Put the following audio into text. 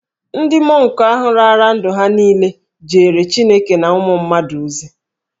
Ndị mọnk ahụ raara ndụ ha niile jeere Chineke na ụmụ mmadụ ozi.